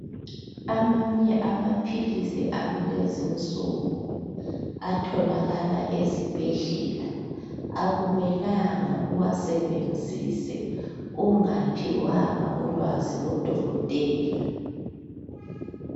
Amanye amaphilisi akulezinsuku atholakala ezibhedlela akumelanga uwasebenzise ungaphiwanga ulwazi ngu dokotela.